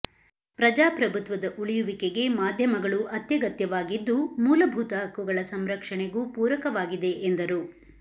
ಪ್ರಜಾಪ್ರಭುತ್ವದ ಉಳಿಯುವಿಕೆಗೆ ಮಾಧ್ಯಮಗಳು ಅತ್ಯಗತ್ಯವಾಗಿದ್ದು ಮೂಲಭೂತ ಹಕ್ಕುಗಳ ಸಂರಕ್ಷಣೆಗೂ ಪೂರಕವಾಗಿದೆ ಎಂದರು